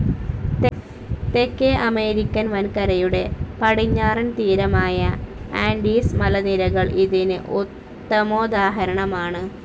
തേക്കേ American വൻകരയുടെ പടിഞ്ഞാറൻ തീരമായ ആൻഡീസ് മലനിരകൾ ഇതിന്‌ ഉത്തമോദാഹരണമാണ്‌